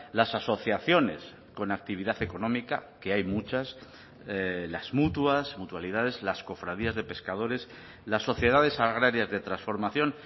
las asociaciones con actividad económica que hay muchas las mutuas mutualidades las cofradías de pescadores las sociedades agrarias de transformación